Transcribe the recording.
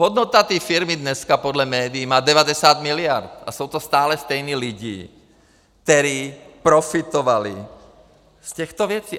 Hodnota té firmy dneska podle médií má 90 miliard a jsou to stále stejní lidé, kteří profitovali z těchto věcí.